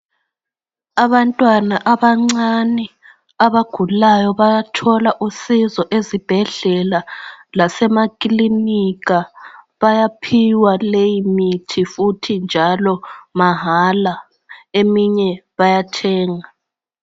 Abantwana abancane abagulayo bayathola usizo ezibhedlela lasemakilinika bayaphiwa leyi imithi futhi njalo mahala eminye bayathenga.